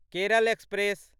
Kerala express